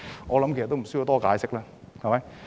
我相信也無需多解釋。